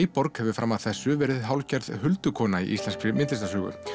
fram að þessu verið hálfgerð huldukona í íslenskri myndlistarsögu